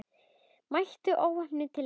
Mætti óvopnuð til leiks.